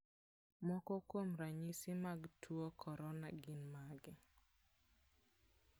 Moko kuom ranyisi mag tuo corona gin mage?